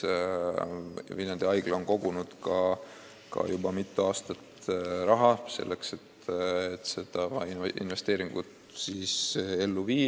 Ka Viljandi Haigla on kogunud mitu aastat raha, et see investeering ellu viia.